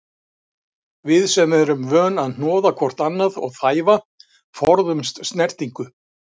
Við sem erum vön að hnoða hvort annað og þæfa, forðumst snertingu.